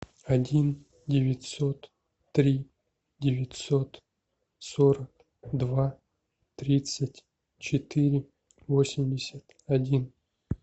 один девятьсот три девятьсот сорок два тридцать четыре восемьдесят один